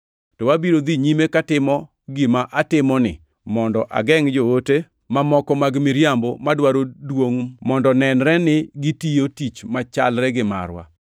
To abiro dhi nyime katimo gima atimoni mondo agengʼ joote mamoko mag miriambo madwaro duongʼ mondo nenre ni gitiyo tich machalre gi marwa.